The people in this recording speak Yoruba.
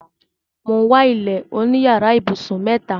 Mo wà ilẹ̀ oní yàrà ibusun mẹta.